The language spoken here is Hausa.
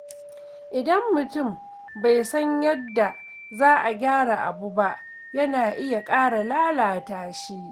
Idan mutum bai san yadda za a gyara abu ba, yana iya ƙara lalata shi.